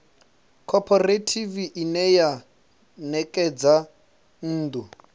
khophorethivi ine ya ṋekedza nnḓu